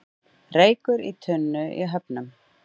Reykur í tunnu í Höfnum